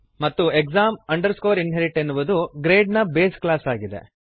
ಮತ್ತು exam inherit ಎನ್ನುವುದು grade ನ ಬೇಸ್ ಕ್ಲಾಸ್ ಆಗಿದೆ